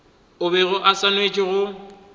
o bego o swanetše go